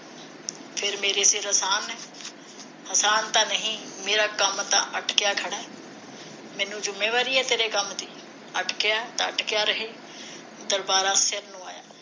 ਫਿਰ ਮੇਰੇ ਫਿਰ ਅਸਾਨ ਹੈ ਅਸਾਨ ਤਾ ਨਹੀ ਮੇਰਾ ਕੰਮ ਤਾਂ ਅਟਕਿਆ ਖੜਾ ਮੈਨੂੰ ਜੁੰਮੇਵਾਰੀ ਹੈ ਤੇਰੇ ਕੰਮ ਦੀ ਅਟਕਿਆ ਹੈ ਤਾਂ ਅਟਕਿਆ ਰਹੇ ਦਰਬਾਰਾ ਨੂੰ ਆਇਆ